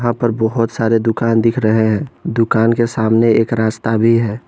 यहां पर बहुत सारे दुकान दिख रहे हैं दुकान के सामने एक रास्ता भी है।